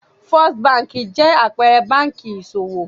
First Báńkì jẹ́ àpẹẹrẹ báńkì ìṣòwò.